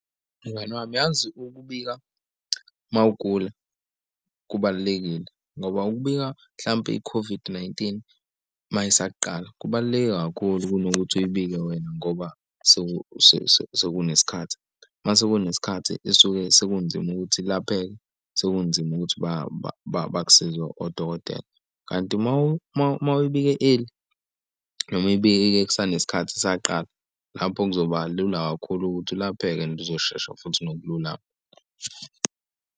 Mngani wami, yazi ukubika mawugula kubalulekile, ngoba ukubika mhlampe i-COVID-19 ma isaqala. Kubaluleke kakhulu kunokuthi uyibike wena ngoba sekunes'khathi. Mase kunesikhathi isuke sekunzima ukuthi ilapheke, sekunzima ukuthi bakusize odokotela kanti umawibike eli noma uy'bike-ke kusanesikhathi isaqala lapho kuzoba lula kakhulu ukuthi ulapheke and izoshesha futhi nokululama.